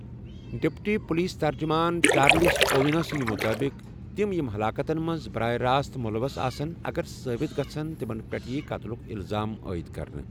Deputy police ترجمان، Charles Owino سندِ مُطٲبِق، تِم یِم ہَلاکتن منٛز بَراہ راست مُلَوث آسُن اگر ثٲبِت گَژھِن تِمن پیٹھ ییہ قتلُک اِلزام عٲید كرنہٕ ۔